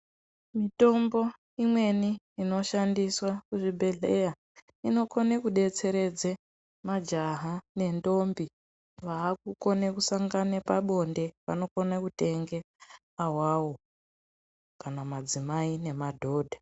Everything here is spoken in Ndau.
Mitombo imweni inoshandiswa muzvibhedhleya inokobe kudetseredze majaha nentombi vakukone kusangana pabonde vanokone kutenga awawo kana madzimai nemadhodha.